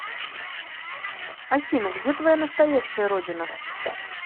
афина где твоя настоящая родина